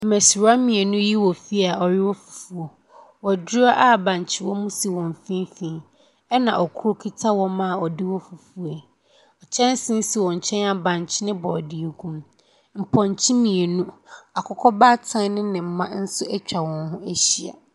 Mmasiriwa mmienu yi wɔ fie a wɔrewɔ fufuo waduro a bankye wɔ mu so wɔn mfimfini, ɛna koro kita wɔmma a wɔde wɔ fufuo. Kyɛnsee si wɔn nkyɛn a bankye ne borɔdeɛ gu mu. Mpɔnkye mmienu, akokɔ baatan ne ne mma nso atwa wɔn ho ahyia.